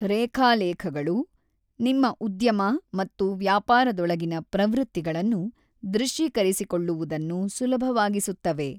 ರೇಖಾಲೇಖಗಳು ನಿಮ್ಮ ಉದ್ಯಮ ಮತ್ತು ವ್ಯಾಪಾರದೊಳಗಿನ ಪ್ರವೃತ್ತಿಗಳನ್ನು ದೃಶ್ಯೀಕರಿಸಿಕೊಳ್ಳುವುದನ್ನು ಸುಲಭವಾಗಿಸುತ್ತವೆ.